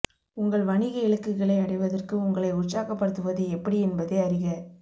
உங்கள் வணிக இலக்குகளை அடைவதற்கு உங்களை உற்சாகப்படுத்துவது எப்படி என்பதை அறிக